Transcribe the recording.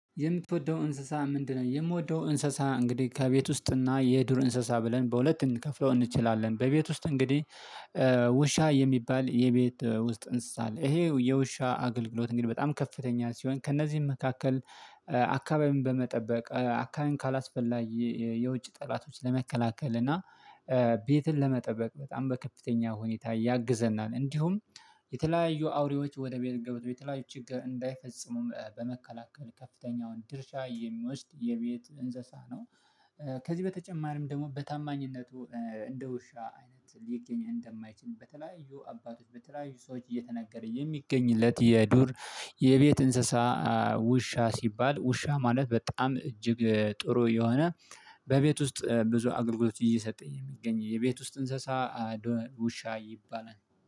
የምትወደው እንስሳ ምንድነው? የምወደው እንስሳ እንግዲህ ከቤት ውስጥ እና የዱር እንስሳ ብለን በሁለት ልንከፍለው እንችላለን። በቤት ውስጥ እንግዲህ ውሻ የሚባል የቤት ውስጥ እንስሳ አለ። ይሄ የውሻ አገልግሎት እንግዲህ በጣም ከፍተኛ ሲሆን። ከእነዚህም መካከል አካባቢን በመጠበቅ አካባቢን ካአስፈላጊ የውጭ ጠላቶች ለመከላከል እና ቤትን ለመጠበቅ በጣም በከፍተኛ ሁኔታ ያግዘናል። እንዲሁም የተለያዩ አውሬዎች ወደ ቤት ገብተው የተለያዩ ችግር እንዳይፈጽሙም በመከላከል ከፍተኛውን ድርሻ የሚወስድ የቤት እንስሳ ነው። ከዚህ በተጨማሪም ደግሞ በታማኝነቱ እንደ ውሻ አይነት ሊገኝ እንደማይችል በተለያዩ አባቶች በተለያዩ ሰዎች እየተነገረ የሚገኝለት የዱር የቤት እንሰሳ ውሻ ሲባል ውሻ ማለት በጣም እጅግ ጥሩ የሆነ በቤት ውስጥ ብዙ አገልግሎት እየሰጠ የሚገኝ የቤት ውስጥ እንሰሳ ውሻ ይባላል።